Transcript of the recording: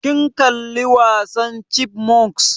Kin kalla wasan chipmunks?